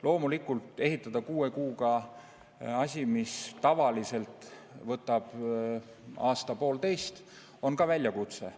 Loomulikult, ehitada kuue kuuga asi, mis tavaliselt võtab aasta-poolteist, on väljakutse.